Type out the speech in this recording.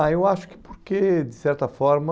Ah, eu acho que porque de certa forma...